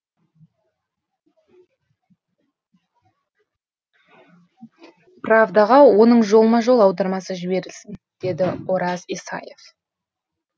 правдаға оның жолма жол аудармасы жіберілсін деді ораз исаев